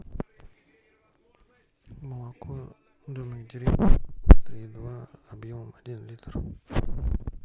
молоко домик в деревне три и два объемом один литр